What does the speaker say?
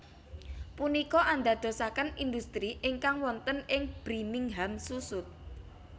Punika andadosaken industri ingkang wonten ing brimingham susut